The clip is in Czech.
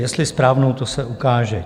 Jestli správnou, to se ukáže.